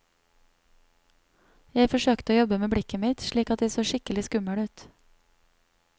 Jeg forsøkte å jobbe med blikket mitt, slik at jeg så skikkelig skummel ut.